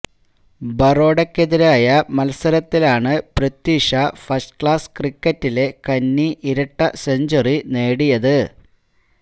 ബറോഡയ്ക്കെതിരായ മത്സരത്തിലാണു Prithvi Shaw first class ക്രിക്കറ്റിലെ കന്നി ഇരട്ട സെഞ്ചുറി നേടിയത്